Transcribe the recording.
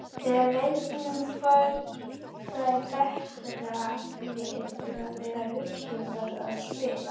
Þegar leikmenn fara í betra lið þurfa þeir að hugsa um það að spila.